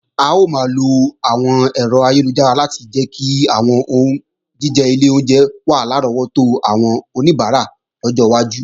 A ó máa lo àwọn ẹ̀rọ ayélujára láti jẹ́ kí àwọn oúnjíjẹ ilé oúnjẹ wà lárọ́wọ́tó àwọn oníbàárà lọ́jọ́ iwájú